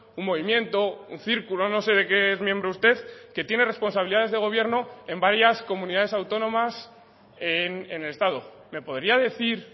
un movimiento un círculo no sé de qué es miembro usted que tiene responsabilidades de gobierno en varias comunidades autónomas en el estado me podría decir